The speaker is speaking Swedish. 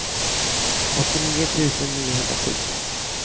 åttionio tusen niohundrasju